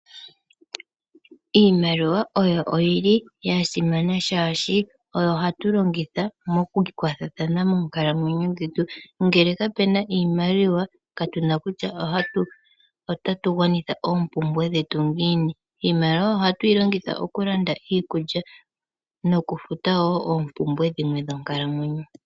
Iimaliwa oyo oyili ya simana shaashi oyo hatu longitha mokukwathathana moonkalamwenyo dhetu. Ngele kapuna iimaliwa katuna kutya otatu gwanitha oompumbwe dhetu ngiini. Iimaliwa ohatu yi longitha okulanda iikulya nokufuta wo oompumbwe dhimwe dhonkalamwenyo.